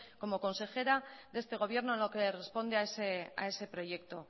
como consejera de este gobierno en lo que responde a ese proyecto